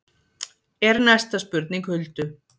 er næsta spurning Huldu.